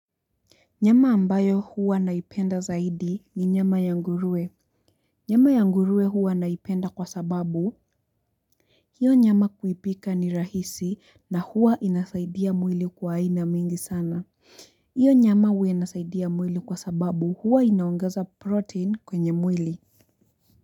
Nyama ambayo huwa naipenda zaidi ni nyama ya nguruwe. Nyama ya nguruwe huwa naipenda kwa sababu hiyo nyama kuipika ni rahisi na huwa inasaidia mwili kwa aina mingi sana. Hiyo nyama huwa inasaidia mwili kwa sababu huwa inaongeza protein kwenye mwili.